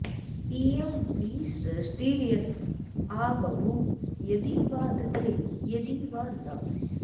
इ॒यं विसृ॑ष्टि॒र्यत॑ आब॒भूव॒ यदि॑ वा द॒धे यदि॑ वा॒ न